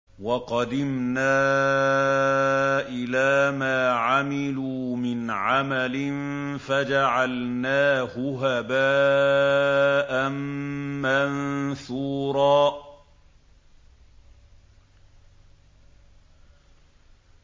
وَقَدِمْنَا إِلَىٰ مَا عَمِلُوا مِنْ عَمَلٍ فَجَعَلْنَاهُ هَبَاءً مَّنثُورًا